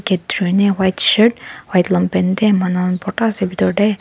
white shirt white longpant dae manu khan bhorta ase bethor dae.